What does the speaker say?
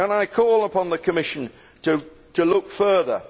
I call upon the Commission to look further.